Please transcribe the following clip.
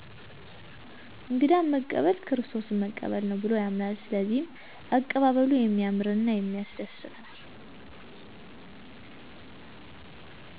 እንግዳን መቀበል ክርስቶስን መቀበል ነው ብሎ ያምናል ስለዚህ አቀባበሉ የሚያምር እና የሚያስደስት ነው።